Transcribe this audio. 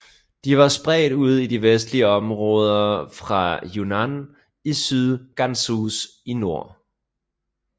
De var spredt ud i de vestlige områder fra Yunnan i syd til Gansu i nord